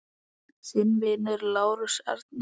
Þinn vinur, Lárus Arnar.